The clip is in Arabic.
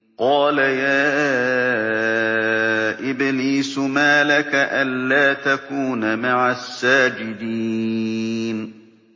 قَالَ يَا إِبْلِيسُ مَا لَكَ أَلَّا تَكُونَ مَعَ السَّاجِدِينَ